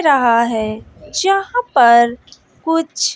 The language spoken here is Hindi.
रहा है जहां पर कुछ--